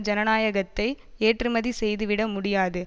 ஜனநாயகத்தை ஏற்றுமதி செய்து விட முடியாது